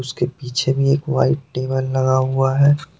उसके पीछे भी एक वाइट टेबल लगा हुआ है।